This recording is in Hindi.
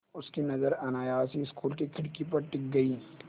उनकी नज़र अनायास ही स्कूल की खिड़की पर टिक गई